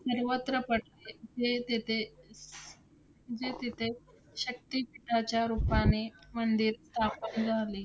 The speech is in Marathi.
सर्वत्र पडते. जे तेथे, जे तेथे शक्तिपीठाच्या रूपाने मंदिर स्थापन झाले.